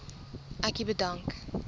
ek u bedank